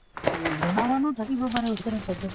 উম জনা মানুহ থাকিব পাৰে ওচৰে পাজৰে